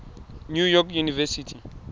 new york university